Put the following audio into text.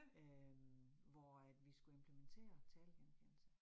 Øh hvor at vi skulle implementere talegenkendelse